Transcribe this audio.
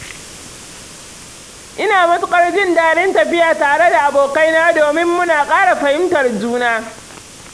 Ina matuƙar jin daɗin tafiya tare da abokaina domin muna ƙara fahimtar juna